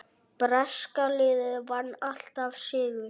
Breska liðið vann alltaf sigur.